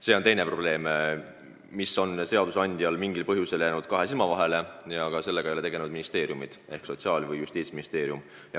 See probleem on seadusandjal mingil põhjusel jäänud kahe silma vahele ja sellega ei ole tegelnud ka Sotsiaalministeerium ega Justiitsministeerium.